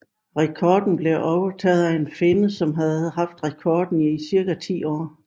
Rekorden blev overtaget efter en finne som havde haft rekorden i cirka ti år